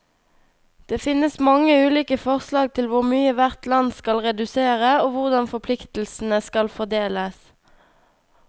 Det finnes mange ulike forslag til hvor mye hvert land skal redusere, og hvordan forpliktelsene skal fordeles.